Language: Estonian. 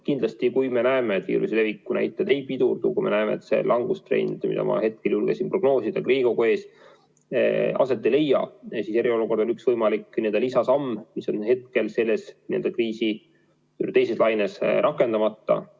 Kindlasti, kui me näeme, et viiruse leviku näitajad ei pidurdu, kui me näeme, et see langustrend, mida ma hetkel julgeksin prognoosida siin Riigikogu ees, aset ei leia, siis eriolukord on üks võimalik lisasamm, mis on hetkel selles kriisi teises laines rakendamata.